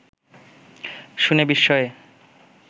শুনে বিস্ময়ে